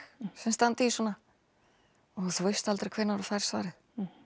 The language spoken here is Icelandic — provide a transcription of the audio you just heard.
sem standa í svona og þú veist aldrei hvenær þú færð svarið